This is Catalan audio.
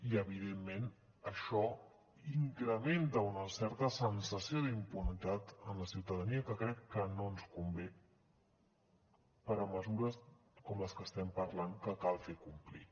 i evidentment això incrementa una certa sensació d’impunitat en la ciutadania que crec que no ens convé per a mesures com les que estem parlant que cal fer complir